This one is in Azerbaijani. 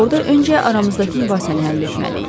Orda öncə aramızdakı mübahisəni həll etməliyik.